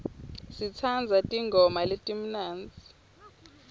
sitsandza tingoma letimnandzi